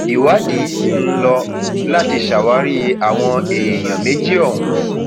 ìwádìí sì ń lò láti ṣàwárí àwọn èèyàn méjì ọhún